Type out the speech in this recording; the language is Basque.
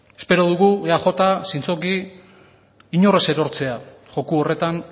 espero dugu eaj zintzoki inor ez erortzea joko horretan